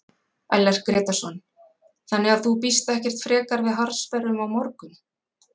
Ellert Grétarsson: Þannig að þú býst ekkert frekar við harðsperrum á morgun?